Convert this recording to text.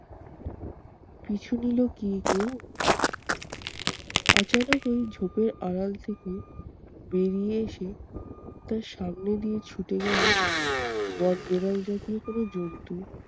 পিছু নিলো গিয়ে কেউ ওই ঝোপের আড়াল থেকে বেরিয়ে এসে তার সামনে দিয়ে ছুটে গেলো বনবিড়াল জাতীয় কোনো জন্তু।